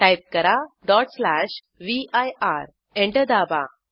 type करा vir enter दाबा